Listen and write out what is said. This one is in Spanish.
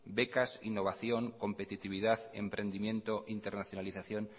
becas innovación competitividad emprendimiento internacionalización